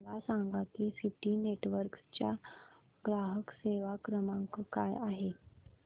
मला सांगा की सिटी नेटवर्क्स चा ग्राहक सेवा क्रमांक काय आहे